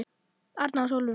Arnar og Sólrún.